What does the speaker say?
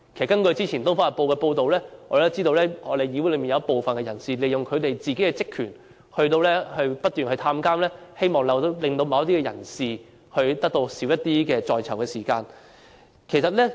根據早前《東方日報》報道，我們知道議會內有部分人士利用職權，不斷到監獄探訪，希望令某些人士可以減少在囚時間。